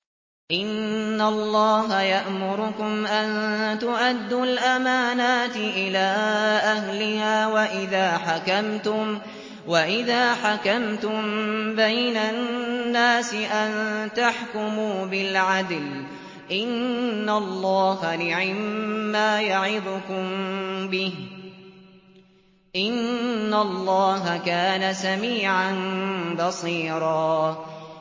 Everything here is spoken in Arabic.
۞ إِنَّ اللَّهَ يَأْمُرُكُمْ أَن تُؤَدُّوا الْأَمَانَاتِ إِلَىٰ أَهْلِهَا وَإِذَا حَكَمْتُم بَيْنَ النَّاسِ أَن تَحْكُمُوا بِالْعَدْلِ ۚ إِنَّ اللَّهَ نِعِمَّا يَعِظُكُم بِهِ ۗ إِنَّ اللَّهَ كَانَ سَمِيعًا بَصِيرًا